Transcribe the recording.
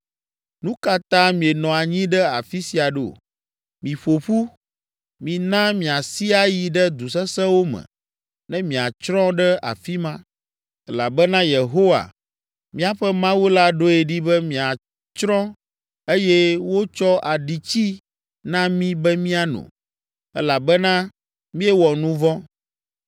“Nu ka ta mienɔ anyi ɖe afi sia ɖo? Miƒo ƒu! Mina míasi ayi ɖe du sesẽwo me ne míatsrɔ̃ ɖe afi ma! Elabena Yehowa, míaƒe Mawu la ɖoe ɖi be miatsrɔ̃ eye wotsɔ aɖitsi na mí be miano elabena míewɔ nu vɔ̃.